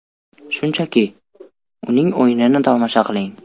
Shunchaki, uning o‘yinini tomosha qiling”.